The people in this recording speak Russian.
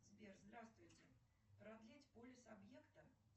сбер здравствуйте продлить полис объекта